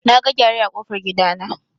Naga gyare a kofar gidana.